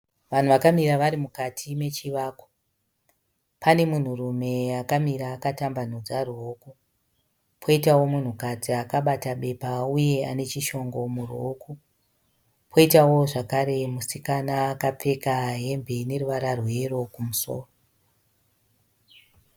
Vanhu vakamira vari mukati mechivakwa . Pane munhurume akamira akatambanudza ruoko, poitawo munhukadzi a akabata bepa uye anechishongo muruoko, poitawo zvakare musikana akapfeka hembe ine ruvara rweyero kumusoro.